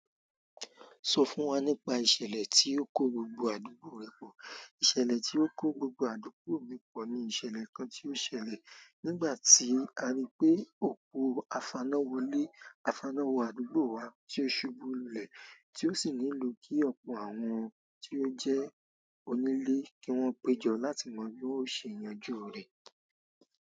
Sọ fún wa nípa ìṣẹ̀lẹ̀ tí ó kó gbogbo àdúgbò rẹ pọ̀. Ìṣẹ̀lẹ̀ tí ó kó gbogbo àdúgbò mi pọ̀ ni ìṣẹ̀lẹ̀ kan tí ó ṣẹlẹ̀ nígbà tí a rí pé òpó afáná wọlé. Afáná wo àdúgbò wa tí ó ṣubú lulẹ̀, tí ó sì nílò kí ọ̀pọ̀ àwọn tí ó jẹ́ onílé kí wọ́n péjọ láti mọ bí wón o ṣe yanjú rẹ̀.